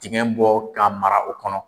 Tigɛn bɔ k'a mara o kɔnɔ.